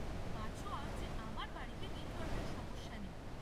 বাঁচোয়া যে আমার বাড়িতে নেটওয়ার্কের সমস্যা নেই।